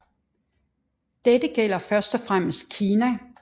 Dette gælder først og fremmest Kina